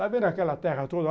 Está vendo aquela terra toda?